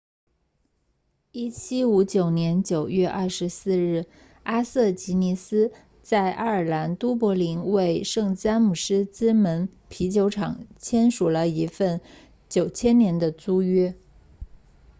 1759年9月24日阿瑟吉尼斯在爱尔兰都柏林为圣詹姆斯之门啤酒厂签署了一份9000年的租约